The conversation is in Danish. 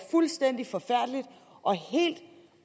fuldstændig forfærdeligt og